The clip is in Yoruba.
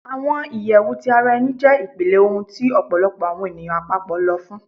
Awọn iyẹwu ti ara ẹni jẹ ipilẹ ohun ti ọpọlọpọ awọn eniyan apapọ lọ fun